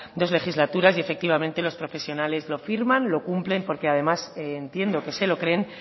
dos legislaturas y efectivamente los profesionales lo firman y lo cumplen porque además entiendo que se lo creen